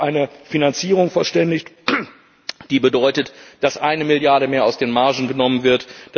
Wir haben uns auf eine Finanzierung verständigt, die bedeutet, dass eine Milliarde mehr aus den Margen genommen wird.